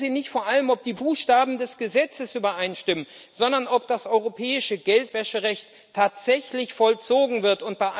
Gucken Sie nicht vor allem, ob die Buchstaben des Gesetzes übereinstimmen, sondern ob das europäische Geldwäscherecht tatsächlich vollzogen wird!